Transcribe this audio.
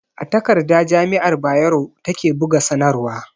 A takarda jami'ar Bayero ta ke buga sanarwa